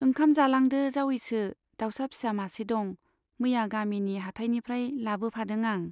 ओंखाम जालांदो जावैसो, दाउसा फिसा मासे दं , मैया गामिनि हाटायनिफ्राय लाबोफादों आं।